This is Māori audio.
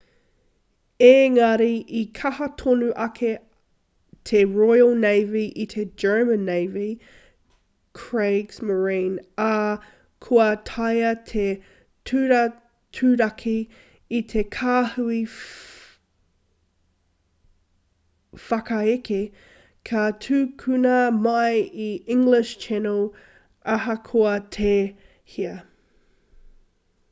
engari i kaha tonu ake te royal navy i te german navy kriegsmarine ā kua taea te turaturaki i te kāhui whakaeke ka tukuna mai i te english channel ahakoa tēhea